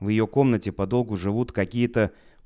в её комнате подолгу живут какие-то